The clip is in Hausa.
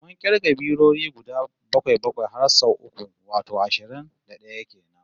Mun kirga biroyi guda bakwai-bakwai har sau uku, wato ashirin da d'aya kenan